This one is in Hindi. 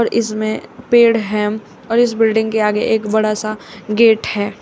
इसमें पेड़ है और इस बिल्डिंग के आगे एक बड़ा सा गेट है।